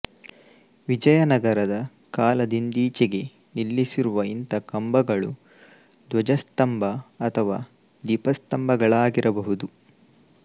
ವಿಜಯನಗರದ ಕಾಲದಿಂದೀಚೆಗೆ ನಿಲ್ಲಿಸಿರುವ ಇಂಥ ಕಂಬಗಳು ಧ್ವಜಸ್ತಂಭ ಅಥವಾ ದೀಪಸ್ತಂಭಗಳಾಗಿರಬಹುದು